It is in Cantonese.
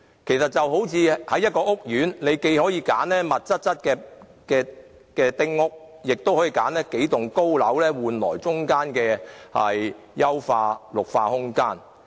其實，這就如在一個屋苑中，你既可選擇密度較高的丁屋，亦可選擇數棟高樓，以換取中間的優化綠化空間。